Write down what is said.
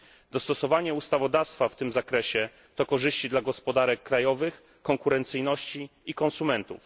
Dostosowanie ustawodawstwa w tym zakresie to korzyści dla gospodarek krajowych, konkurencyjności i konsumentów.